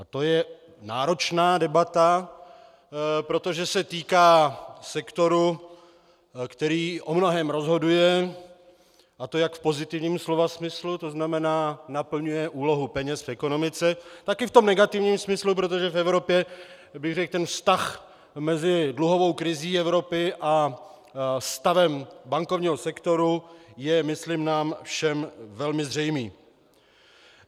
A to je náročná debata, protože se týká sektoru, který o mnohém rozhoduje, a to jak v pozitivním slova smyslu, to znamená naplňuje úlohu peněz v ekonomice, tak i v tom negativním smyslu, protože v Evropě, řekl bych, ten vztah mezi dluhovou krizí Evropy a stavem bankovního sektoru je myslím nám všem velmi zřejmý.